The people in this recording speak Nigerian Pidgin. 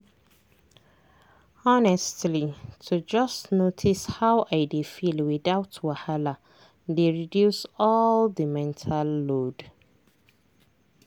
honestly to just notice how i dey feel without wahala dey reduce all the mental load.